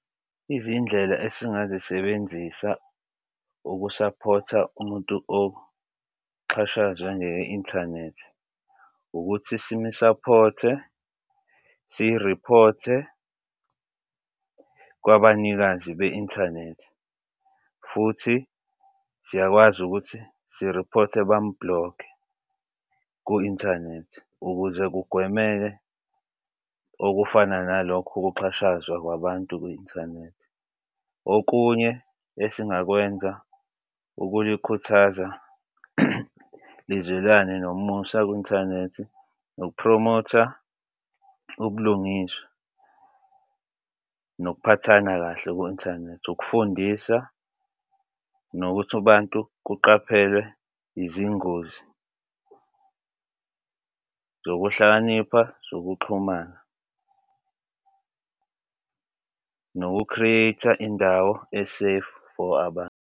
Izindlela esingazisebenzisa ukusaphotha umuntu oqhashayo njenge-inthanethi ukuthi simisaphothe siriphothe kwabanikazi be-inthanethi futhi siyakwazi ukuthi siriphothe bamublokhe ku-inthanethi ukuze kugwemeke okufana nalokho ukuxhashazwa kwabantu kwi-inthanethi. Okunye esingakwenza ukunikhuthaza nizwelane nomusa kwi-inthanethi nokupromotha ubulungiswa nokuphathana kahle ku-inthanethi. Ukufundisa nokuthi abantu kuqaphelwe izingozi zokuhlakanipha zokuxhumana, noku-create-a e-safe for abantu.